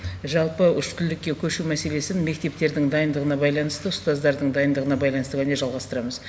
жалпы үштілділікке көшу мәселесін мектептердің дайындығына байланысты ұстаздардың дайындығына байланысты ғана жалғастырамыз